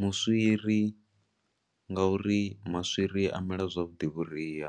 Muswiri nga uri maswiri a mela zwavhuḓi vhuria.